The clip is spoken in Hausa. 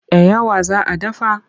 Da yawa za a dafa?